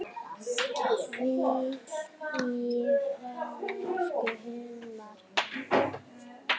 Hvíl í friði, elsku Hilmar.